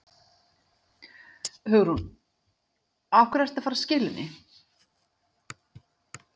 Hugrún: Af hverju ertu að fara að skila henni?